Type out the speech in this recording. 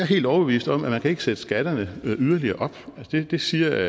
helt overbevist om at man ikke kan sætte skatterne yderligere op det siger